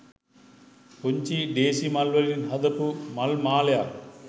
පුංචි ඬේසි මල් වලින් හදපු මල් මාලයක්.